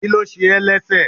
kilo se é lẹsẹ